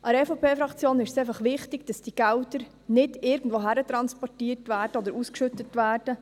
Der EVP-Fraktion ist es wichtig, dass die Gelder nicht irgendwohin transportiert oder ausgeschüttet werden.